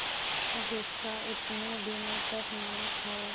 जिसका इतने दिनों तक नमक खाया